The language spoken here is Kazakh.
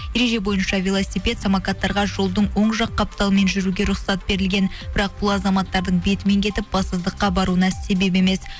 ереже бойынша велосипед самокаттарға жолдың оң жақ қапталымен жүруіге рұқсат берілген бірақ бұл азаматтардың бетімен кетіп бассыздыққа баруына себеп емес